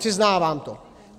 Přiznávám to.